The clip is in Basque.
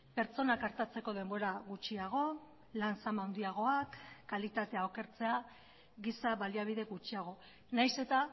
pertsonak artatzeko denbora gutxiago lan zama handiagoak kalitatea okertzea giza baliabide gutxiago nahiz eta